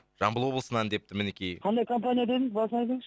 жамбыл облысынан депті мінекей қандай компания дедіңіз басынан айтыңызшы